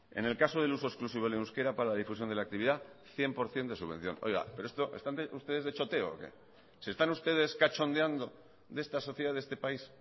en el caso de uso exclusivo del euskera para la difusión de la actividad cien por ciento de la subvención oiga pero esto no obstante ustedes están de choteo o qué se están ustedes cachondeando de esta sociedad de este país